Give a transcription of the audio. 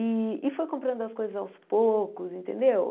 E e foi comprando as coisas aos poucos, entendeu?